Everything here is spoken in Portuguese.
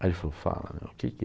Aí ele falou, fala, meu, o que que